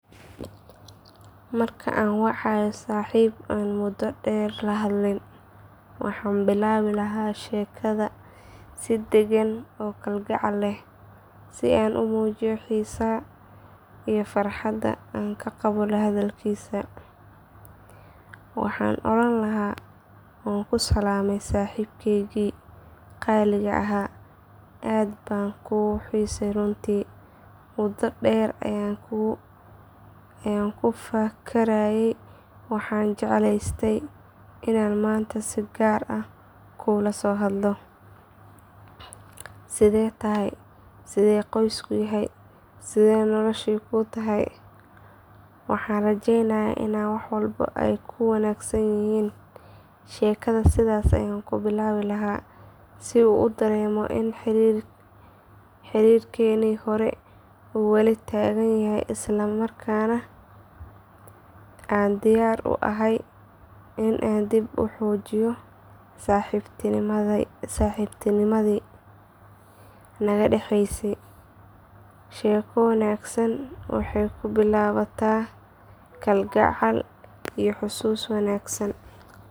Marka aan wacayo saaxiib aan muddo dheer lahadlin waxaan bilaabi lahaa sheekada si degan oo kalgacal leh si aan u muujiyo xiisaha iyo farxadda aan ka qabo la hadalkiisa. Waxaan oran lahaa waan ku salaamay saaxiibkaygii qaaliga ahaa aad baan kuu xiisay runtii muddo dheer ayaan ku fakarayay waxaana jeclaystay inaan maanta si gaar ah kuula soo hadlo. Sidee tahay sidee qoysku yahay sidee noloshii kuu tahay waxaan rajeynayaa in wax walba ay kuu wanaagsan yihiin. Sheekada sidaas ayaan ku bilaabi lahaa si uu dareemo in xiriirkeennii hore uu wali taagan yahay isla markaana aan diyaar u ahay in aan dib u xoojino saaxiibtinimadii naga dhaxaysay. Sheeko wanaagsan waxay ku bilaabataa kalgacal iyo xasuusin wanaagsan.